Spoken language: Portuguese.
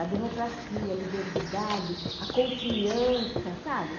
A democracia, a liberdade, a confiança, sabe?